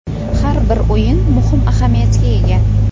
Har bir o‘yin muhim ahamiyatga ega.